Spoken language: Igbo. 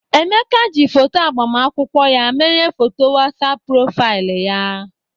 Emeka ji foto agbamakwụkwọ ya mere foto WhatsApp profaịlị ya.